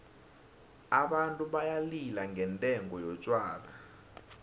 abantu bayalila ngendengo yotjhwala